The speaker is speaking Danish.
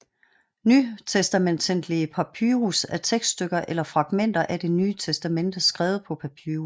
Nytestamentlige papyrus er tekststykker eller fragmenter af det Nye Testamente skrevet på papyrus